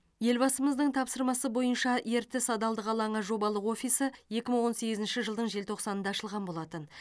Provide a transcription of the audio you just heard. елбасымыздың тапсырмасы бойынша ертіс адалдық алаңы жобалық офисі екі мың он сегізінші жылдың желтоқсанында ашылған болатын